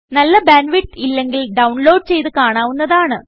നല്ല bandwidth ഇല്ലെങ്കിൽഡൌൺലോഡ് ചെയ്ത് കാണാവുന്നതാണ്